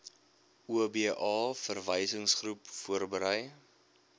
oba verwysingsgroep voorberei